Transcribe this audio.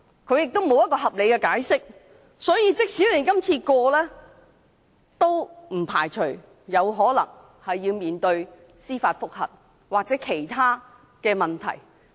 所以，這項修訂建議即使獲得通過，也不排除立法會可能要面對司法覆核或其他問題。